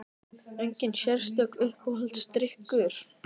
Engin sérstök Uppáhaldsdrykkur?